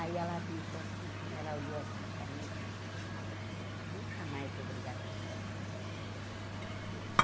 Aí ela disse assim para mim, ela olhou assim para mim e disse, nunca mais vou brigar com você.